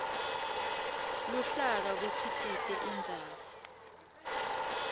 luhlaka kukhicite indzaba